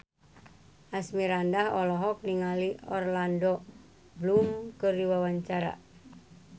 Asmirandah olohok ningali Orlando Bloom keur diwawancara